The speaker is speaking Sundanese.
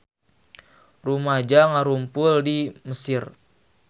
Rumaja ngarumpul di Mesir